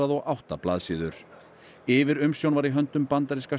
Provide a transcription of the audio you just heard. og átta blaðsíður yfirumsjón var í höndum bandaríska